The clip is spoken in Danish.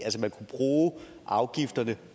altså man kunne bruge afgifterne